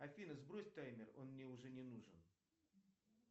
афина сбрось таймер он мне уже не нужен